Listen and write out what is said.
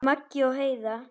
Maggi og Heiða.